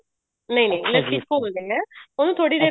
ਨਹੀਂ ਨਹੀਂ ਲੱਸੀ ਘੋਲ ਦਿਨੇ ਆਂ ਉਹਨੂੰ ਥੋੜੀ ਦੇਰ